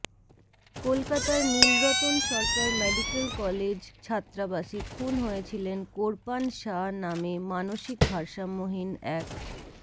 কলকাতার Nilratan Sarkar medical college ছাত্রাবাসে খুন হয়েছিলেন কোরপান শাহ নামে মানসিক ভারসাম্যহীন এক